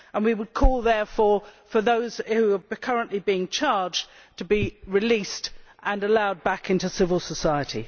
We would call, therefore, for those who are currently being charged to be released and to be allowed back into civil society.